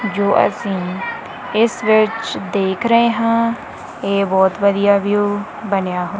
ਜੋ ਅਸੀਂ ਇਸ ਵਿੱਚ ਦੇਖ ਰਹੇ ਹਾਂ ਇਹ ਬਹੁਤ ਵਧੀਆ ਵਿਊ ਬਣਿਆ--